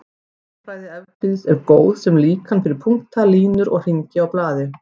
Rúmfræði Evklíðs er góð sem líkan fyrir punkta, línur og hringi á blaði.